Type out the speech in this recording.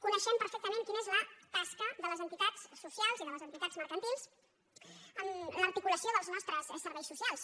coneixem perfectament quina és la tasca de les enti·tats socials i de les entitats mercantils en l’articulació dels nostres serveis socials